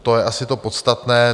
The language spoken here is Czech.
To je asi to podstatné.